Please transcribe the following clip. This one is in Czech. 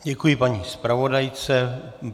Děkuji paní zpravodajce.